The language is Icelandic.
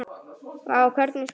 Vá, hvernig spyrðu?